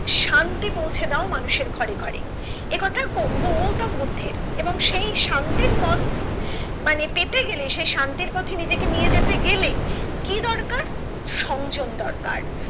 শান্তি পৌঁছে দাও মানুষের ঘরে ঘরে এ কথা গৌতম বুদ্ধের এবং সেই শান্তির পথ মানে পেতে গেলে সে শান্তির পথে নিজেকে নিয়ে যেতে গেলে কি দরকার সংযম দরকার